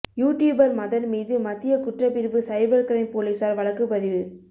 you tuber Madan மீது மத்திய குற்றப்பிரிவு சைபர் கிரைம் போலீசார் வழக்கு பதிவு